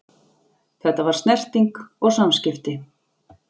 Þetta var snerting og samskipti.